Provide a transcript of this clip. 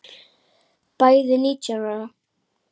Bæði nítján ára.